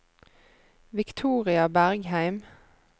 Victoria Bergheim